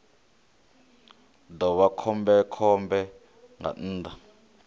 ḓo vha khombekhombe nga nnḓa